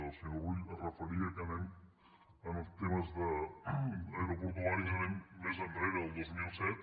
el senyor rull es referia que anem en els temes aeroportuaris més enrere del dos mil set